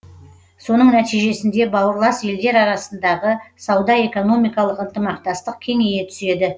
соның нәтижесінде бауырлас елдер арасындағы сауда экономикалық ынтымақтастық кеңейе түседі